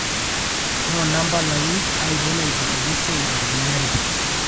noona mpalai ainei naipotieki esiai ntarikini are